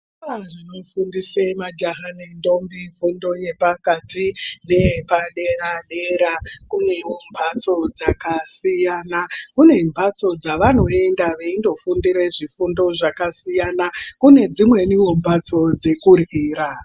Zvikora zvinofundise majaha nendombi fundo yepakati neyepadera dera kunewo mbatso dzakasiyana, kune mbatso dzavanoenda veindofundire zvifundo zvakasiyana kune dzimweniwo mbatso dzekuryira.